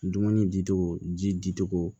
Dumuni di cogo ji di cogo